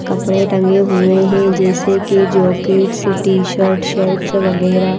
कपड़े टंगे हुए हैं जैसे कि जैकेट्स टी-शर्ट शर्ट्स वगैरह।